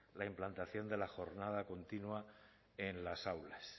la implantación de la jornada continua en las aulas